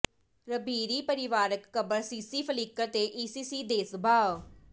ਰਬੀਰੀ ਪਰਿਵਾਰਕ ਕਬਰ CC Flickr ਤੇ ਈਸੀਸੀ ਦੇ ਸੁਭਾਅ